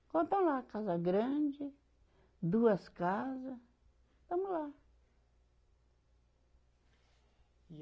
Então tá lá, a casa grande, duas casa, tamo lá. E